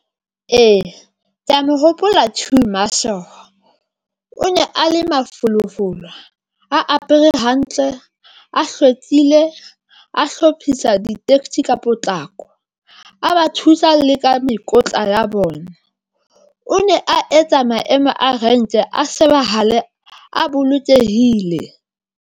Ee, ke ya mo hopola queue marshal o ne a le mafolofolo, a apere hantle, a hlwekile, a hlophisa ditekesi ka potlako, a ba thusa le ka mekotla ya bona. O ne a etsa maemo a renke a shebahale a bolokehile.